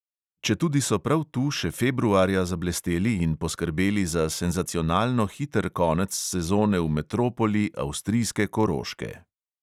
Četudi so prav tu še februarja zablesteli in poskrbeli za senzacionalno hiter konec sezone v metropoli avstrijske koroške.